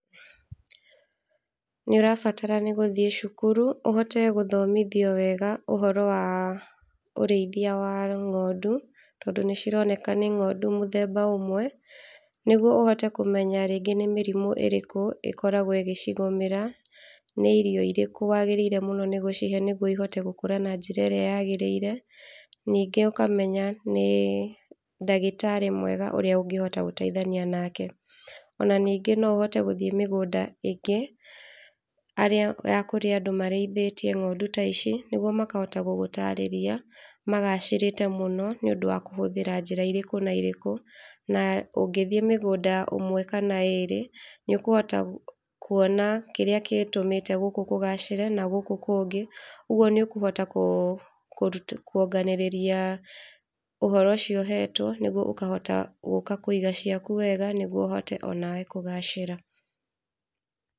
Nĩ ũrabatara nĩ gũthiĩ cukuru ũhote gũthomithio wega ũhoro wa ũrĩithia wa ng'ondu, tondũ nĩ cironekana nĩ ng'ondu mũthemba ũmwe, nĩguo ũhote kũmenya rĩngĩ nĩ mĩrimũ ĩrĩkũ ĩkoragwo ikĩcigũmĩra, nĩ irio irĩkũ wagĩrĩirwo mũno nĩ gũcihe nĩguo ihote gũkũra na njĩra ĩrĩa yagĩrĩire, ningĩ ũkamenya nĩ ndagĩtarĩ mwega ũrĩa ũngĩhota gũteithania nake, ona ningĩ no ũhote gũthiĩ mĩgũnda ingĩ ya kũrĩa andũ marĩithĩtie ng'ondu ta ici, nĩguo makahota gũgũtarĩria, magacĩrĩte mũno nĩ ũndũ wa kũhũthĩra njĩra irĩkũ na irĩkũ, na ũngĩthiĩ mũgũnda ũmwe kana ĩrĩ, nĩ ũkũhota kuona kĩrĩa gĩtũmĩte gũkũ kũgacĩre na gũkũ kũngĩ, ũguo nĩ ũkũhota kwonganĩrĩria ũhoro ũcio ũhetwo nĩguo ũkahota gũka kũiga ciaku wega, nĩguo ũhote onawe kũgacĩra.